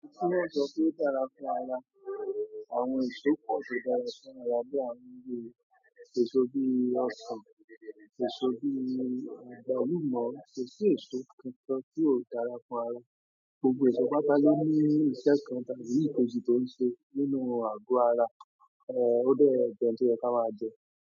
Kíni eso to dára fún ara, àwọn èso pọ̀ tó dára fún ara bí àwọn bi ìru èso bí ọsàn, èso bí àgbálùmọ̀, kò sí èso kankán tíó dára fún ara. Gbogbo èso pátá lo ní iṣẹ́ kan tàbí ìkejì tó ń ṣe nínú àgọ́ ara, o dẹ́ jẹ̀ oun tí o yẹ ká máa jẹ.